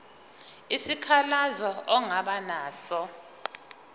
isikhalazo ongaba naso